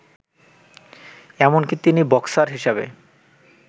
এমনকি তিনি বক্সার হিসেবে